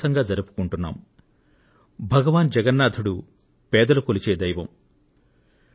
దేశంలోని అణగారిన వర్గాల వారు భగవాన్ జగన్నాథుడితో ప్రగాఢమైన అనుభూతులు పెనవేసుకొన్నారు